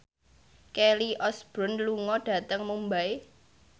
Kelly Osbourne lunga dhateng Mumbai